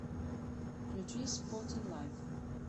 включи спортинг лайф